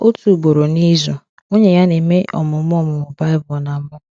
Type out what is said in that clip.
Otu ugboro n’izu, nwunye ya na-eme ọmụmụ ọmụmụ Baịbụl na mụ.